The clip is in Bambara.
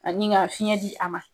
Ani ka fiɲɛ di a ma.